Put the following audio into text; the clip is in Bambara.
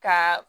Ka